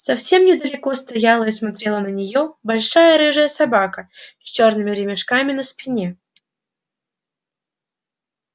совсем недалеко стояла и смотрела на неё большая рыжая собака с чёрными ремешками на спине